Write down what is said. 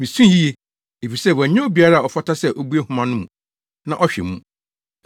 Misui yiye, efisɛ wɔannya obiara a ɔfata sɛ obue nhoma no mu na ɔhwɛ mu.